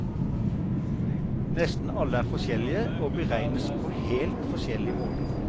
Nesten alle er forskjellige, og beregnes på helt forskjellige måter.